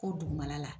Ko dugumana la